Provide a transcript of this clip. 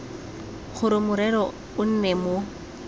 gore morero o nne mo